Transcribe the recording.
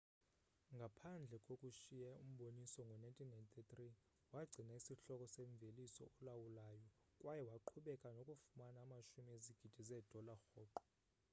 ngaphandle kokushiya umboniso ngo-1993 wagcina isihloko somvelisi olawulayo kwaye waqhubeka nokufumana amashumi ezigidi zeedola rhoqo